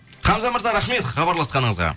хамза мырза рахмет хабарласқаныңызға